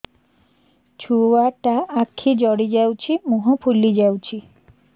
ଛୁଆଟା ଆଖି ଜଡ଼ି ଯାଉଛି ମୁହଁ ଫୁଲି ଯାଉଛି